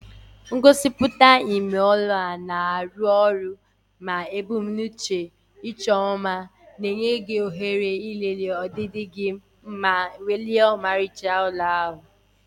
Ngosipụta ime ụlọ na-arụ ọrụ ma ebumnuche ịchọ mma, na-enye gị ohere ịlele ọdịdị gị ma welie ọmarịcha ụlọ ahụ.